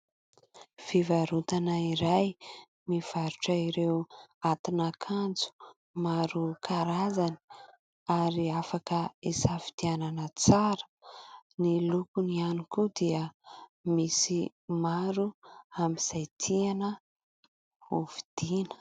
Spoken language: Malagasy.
Fivarotana iray, mivarotra ireo atin'akanjo. Maro karazany ary afaka hisafidianana tsara. Ny lokony ihany koa dia misy maro amin'izay tiana hovidiana.